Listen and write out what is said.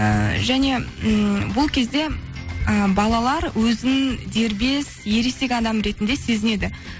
ыыы және ммм бұл кезде і балалар өзін дербес ересек адам ретінде сезінеді